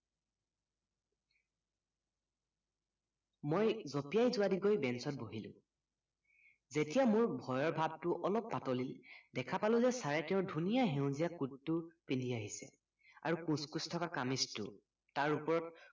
মই জপিয়াই যোৱাদি গৈ banch বহিলো যেতিয়া মোৰ ভয়ৰ ভাবটো অলপ পাতলিল দেখাপালো যে চাৰে তেওঁৰ ধুনীয়া সেউজীয়া coat পিন্ধি আহিছে আৰু কোচ কোচ থকা কামিজটো তাৰ ওপৰত